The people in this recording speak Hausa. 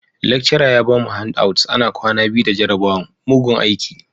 Lecturer ya bamu handouts ana kwana biyu da jarabawan, mugun aiki.